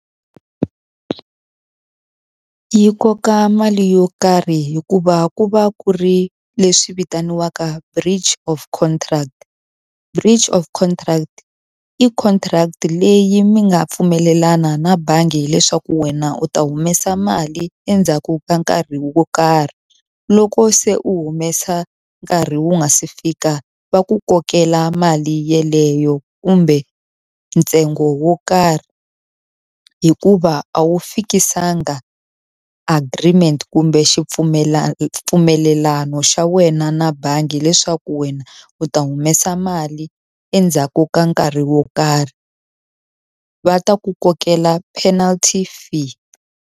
Yi koka mali yo karhi hikuva ku va ku ri leswi vitaniwaka bridge of contract. Bridge of contract i contract leyi mi nga pfumelelana na bangi hileswaku wena u ta humesa mali endzhaku ka nkarhi wo karhi. Loko se u humesa nkarhi wu nga se fika va ku kokela mali yeleyo kumbe ntsengo wo karhi. Hikuva a wu fikisanga agreement kumbe mpfumelelano xa wena na bangi leswaku wena u ta humesa mali endzhaku ka nkarhi wo karh. Va ta ku kokela panelty fee.